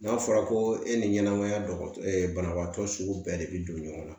N'a fɔra ko e ni ɲɛnɛmaya dɔgɔ banabaatɔ sugu bɛɛ de bi don ɲɔgɔn na